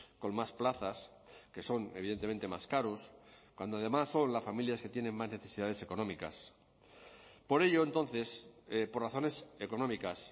con más plazas que son evidentemente más caros cuando además son las familias que tienen más necesidades económicas por ello entonces por razones económicas